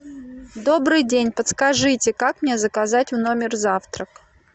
добрый день подскажите как мне заказать в номер завтрак